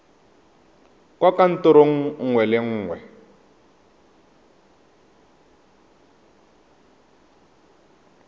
kwa kantorong nngwe le nngwe